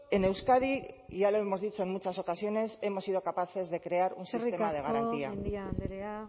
en euskadi y ya lo hemos dicho en muchas ocasiones hemos sido capaces de crear un sistema de garantía eskerrik asko mendia andrea